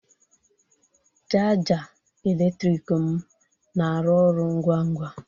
Chaja eletrik m na-arụ ọrụ ngwa ngwa